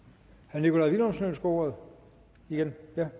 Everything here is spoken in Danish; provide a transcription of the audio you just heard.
nikolaj villumsen ønsker ordet igen